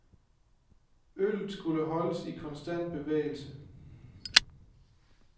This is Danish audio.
Øllet skulle holdes i konstant bevægelse.